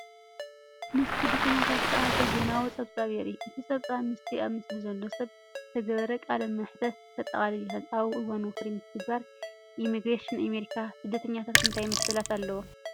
ምስ ስደተኛታት ዝተኣሳሰር ዜናዊ ጸብጻብ የርኢ። እቲ ጸብጻብ ምስቲ ኣብቲ ምስሊ ዘሎ ሰብ ዝተገብረ ቃለ መሕትት ከጠቓልል ይኽእል። ኣብ እዋን ወፍሪ ምትግባር ኢሚግሬሽን ኣሜሪካ ስደተኛታት እንታይ መሰላት ኣለዎም?